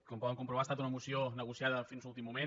com poden comprovar ha estat una moció negociada fins a l’últim moment